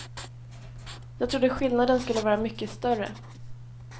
Jag trodde skillnaden skulle vara mycket större.